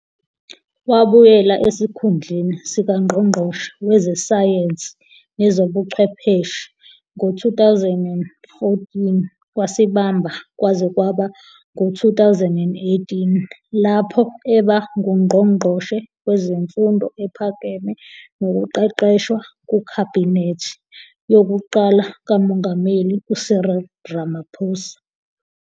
Wabuyela esikhundleni sikaNgqongqoshe Wezesayensi Nezobuchwepheshe ngo-2014 futhi wasibamba kwaze kwaba ngu-2018, lapho eba nguNgqongqoshi Wezemfundo Ephakeme Nokuqeqeshwa kuKhabhinethi yokuqala kaMongameli uCyril Ramaphosa.